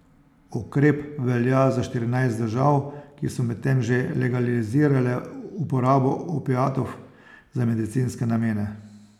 Ukrep velja za štirinajst držav, ki so medtem že legalizirale uporabo opiatov za medicinske namene.